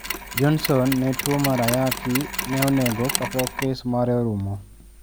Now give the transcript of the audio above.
Johnson ne tuo mar ayaki ne onego kapok kes mare orumo.